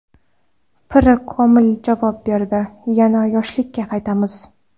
Piri komil javob berdi: - Yana yoshlikka qaytamiz.